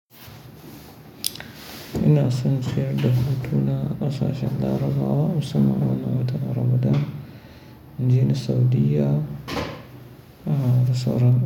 Ina son ciyar da hutu na a kasashen larabawa musamman a watan Ramadan, in je saudiyya da sauran.